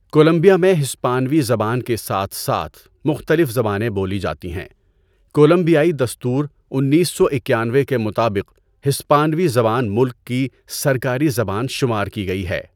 Colombia میں ہسپانوی زبان کے ساتھ ساتھ مختلف زبانیں بولی جاتی ہیں۔ کولمبیائی دستور انیس سو اکیانوے کے مطابق ہسپانوی زبان ملک کی سرکاری زبان شمار کی گئی ہے۔